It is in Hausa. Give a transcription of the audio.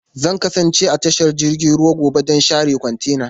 Zan kasance a tashar jiragen ruwa gobe don share kwantenana.